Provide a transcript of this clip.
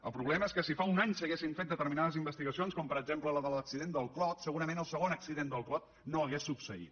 el problema és que si fa un any s’haguessin fet determinades investigacions com per exemple la de l’accident del clot segurament el segon accident del clot no hauria succeït